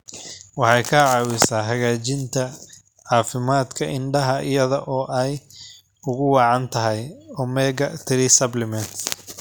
Waxay caawisaa hagaajinta caafimaadka indhaha iyada oo ay ugu wacan tahay omega-3 supplements.